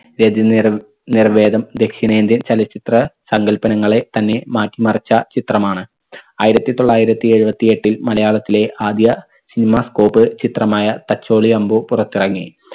രതിനിർ നിർവേദം ദക്ഷിണേന്ത്യൻ ചലച്ചിത്ര സങ്കല്പങ്ങളെ തന്നെ മാറ്റിമറിച്ച ചിത്രമാണ്. ആയിരത്തി തൊള്ളായിരത്തി എഴുപത്തി എട്ടിൽ മലയാളത്തിലെ ആദ്യ cinema scope ചിത്രമായ തച്ചോളി അമ്പു പുറത്തിറങ്ങി.